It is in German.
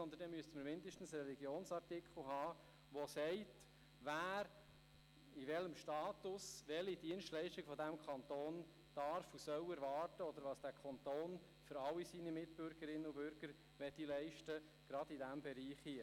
Wir müssten dazu mindestens einen Religionsartikel haben, der besagt, wer in welchem Status welche Dienstleistung von diesem Kanton erwarten darf und soll, oder was der Kanton für alle seine Bürgerinnen und Bürger gerade in diesem Bereich leisten möchte.